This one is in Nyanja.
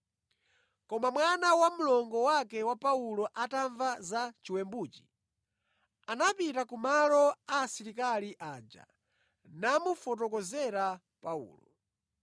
Koma mwana wa mlongo wake wa Paulo atamva za chiwembuchi, anapita ku malo a asilikali aja namufotokozera Paulo.